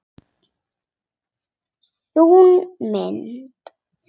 Sú mynd.